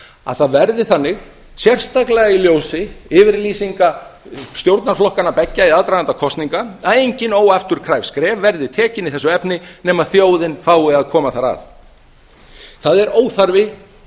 að það verði þannig sérstaklega í ljósi yfirlýsinga stjórnarflokkanna beggja í aðdraganda kosninga að engin óafturkræf skref verði tekið í þessu efni nema þjóðin fái að koma þar að það er óþarfi